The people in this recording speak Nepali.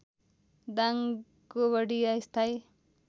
दाङ गोबडिया स्थायी